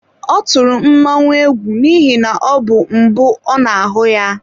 Ọ tụrụ mmọnwụ egwu n'ihi na ọ bụ mbụ ọ na-ahụ ya.